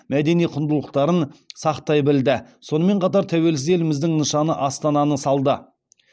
мәдени құндылықтарын сақтай білді сонымен қатар тәуелсіз еліміздің нышаны астананы салды